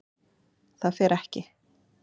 ÞAÐ FER EKKI